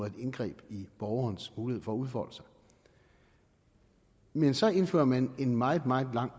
et indgreb i borgernes mulighed for at udfolde sig men så indfører man en meget meget lang